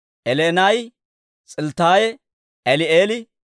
Eli'enaayi, S'ilttaayi, Eli'eeli,